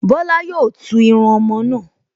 Bọ́lá yóò tún irun ọmọ náà